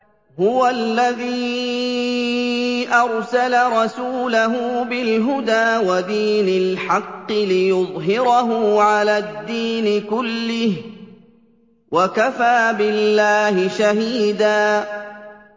هُوَ الَّذِي أَرْسَلَ رَسُولَهُ بِالْهُدَىٰ وَدِينِ الْحَقِّ لِيُظْهِرَهُ عَلَى الدِّينِ كُلِّهِ ۚ وَكَفَىٰ بِاللَّهِ شَهِيدًا